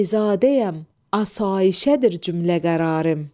Bəyzadəyəm, asayişədir cümlə qərarım.